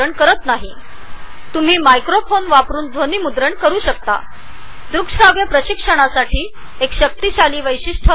तुम्ही आवाज रेकॉर्ड करण्यासाठी मायक्रोफोन वापरु शकता जे ऑडीओ व्हिडीओ म्हणजेच द्रुकश्राव्य प्रशिक्षणासाठी वापरले जाणारे प्रभावी वैशिष्ट्य आहे